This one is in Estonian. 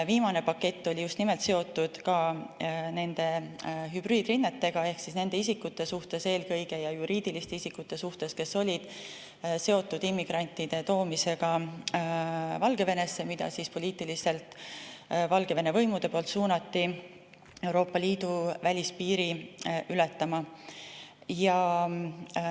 Viimane pakett oli just nimelt seotud ka nende hübriidrünnetega ehk see oli eelkõige nende isikute ja juriidiliste isikute suhtes, kes olid seotud immigrantide toomisega Valgevenesse, keda poliitiliselt suunati Valgevene võimude poolt Euroopa Liidu välispiiri ületama.